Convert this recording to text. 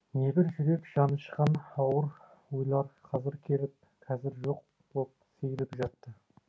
небір жүрек жанышқан ауыр ойлар қазір келіп қазір жоқ боп сейіліп жатты